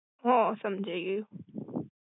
હ સમ્જાજા ગ્ય.